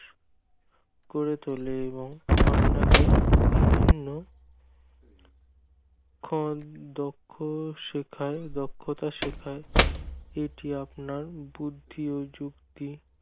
করে তোলে এবং বিভিন্ন ক্ষণ দক্ষ দক্ষতা শেখায় এটি আপনার বুদ্ধি ও শক্তি